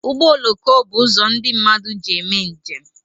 Ụgbọ oloko bụ uzo ndị mmadụ ji eme njem